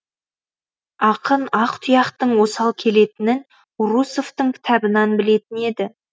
ақын ақ тұяқтың осал келетінін урусовтың кітабынан білетін еді